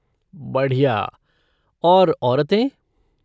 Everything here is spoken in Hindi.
बढ़िया। और औरतें?